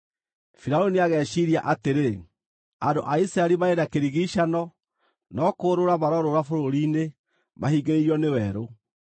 Firaũni nĩageciiria atĩrĩ, ‘andũ a Isiraeli marĩ na kĩrigiicano no kũũrũũra marorũũra bũrũri-inĩ, mahingĩrĩirio nĩ werũ.’